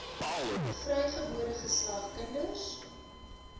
vrygebore geslag kinders